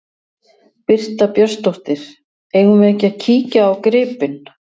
Birta Björnsdóttir: Eigum við ekki að kíkja á gripinn?